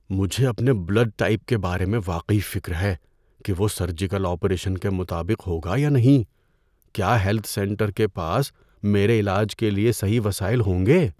مجھے اپنے blood type کے بارے میں واقعی فکر ہے کہ وہ سرجیکل آپریشن کے مطابق ہوگا یا نہیں۔ کیا ہیلتھ سینٹر کے پاس میرے علاج کے لیے صحیح وسائل ہوں گے؟